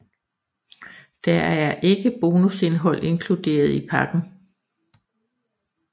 Der er ikke bonusindhold inkluderet i pakken